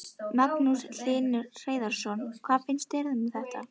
Magnús Hlynur Hreiðarsson: Hvað finnst þér um þetta?